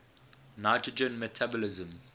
nitrogen metabolism